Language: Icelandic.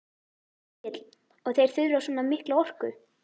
Egill: Og þeir þurfa svona mikla orku?